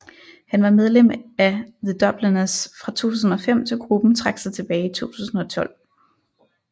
Han var medlem af The Dubliners fra 2005 til gruppen trak sig tilbage i 2012